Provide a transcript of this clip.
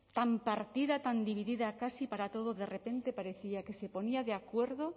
tan partida tan dividida casi para todo de repente parecía que se ponía de acuerdo